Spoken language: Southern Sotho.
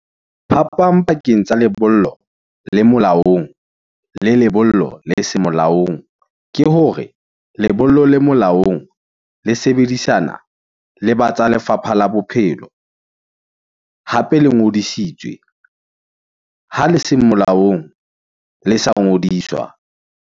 Phapang pakeng tsa lebollo le molaong, le lebollo le se molaong, ke hore lebollo le molaong le sebedisa, lesebedisana le batsa lefapha la bophelo , hape le ngodisitswe , ha le se molaong le sa ngodiswa.